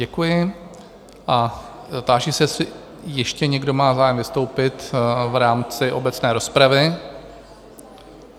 Děkuji a táži se, jestli ještě někdo má zájem vystoupit v rámci obecné rozpravy?